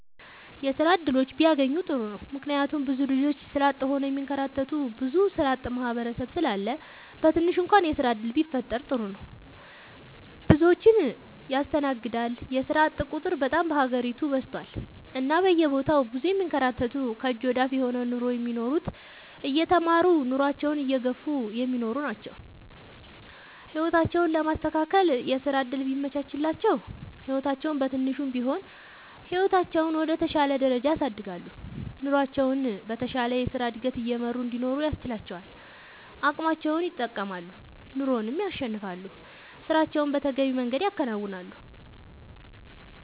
የስራ እድሎች ቢያገኙ ጥሩ ነው ምክንያቱም ብዙ ልጆች ስራ አጥ ሆነው የሚንከራተቱ ብዙ ስራአጥ ማህበረሰብ ስላለ በትንሹ እንኳን የስራ ዕድል ቢፈጠር ጥሩ ነው። ብዙዎችን ያስተናግዳል የስራአጥ ቁጥር በጣም በሀገሪቱ በዝቷል እና በየቦታው ብዙ የሚንከራተቱ ከእጅ ወደ አፍ የሆነ ኑሮ ነው የሚኖሩት እየተማረሩ ኑሮአቸውን እየገፍ እሚኖሩ አሉ። ህይወታቸውን ለማስተካከል የስራ ዕድል ቢመቻችላቸው ህይወታቸውን በትንሹም ቢሆን ህይወታቸውን ወደ ተሻለ ደረጃ ያሳድጋሉ። ኑሮቸውን በተሻለ የስራ ዕድገት እየመሩ እንዲኖሩ ያስችላቸዋል አቅማቸውን ይጠቀማሉ ኑሮንም ያሸንፋሉ። ስራቸውን በተገቢው መንገድ ያከናውናሉ።…ተጨማሪ ይመልከቱ